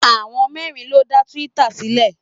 Àwọn mẹ́rin ló dá twitter sílẹ̀.